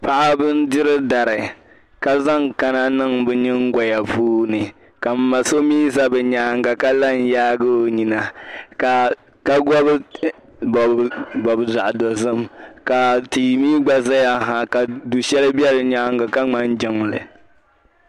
Paɣiba n-diri dari ka zaŋ kana niŋ bɛ nyiŋgɔya puuni ka m ma so mi za bɛ nyaaŋa ka la n-yaagi o nyina ka bɔbibɔbi zaɣ’ dozim ka tia mi gba zaya ha ka du’ shɛli be di nyaaŋa ka ŋmani jiŋli